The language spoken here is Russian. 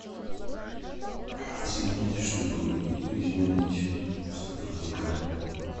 соединить чтобы изменить статус заказа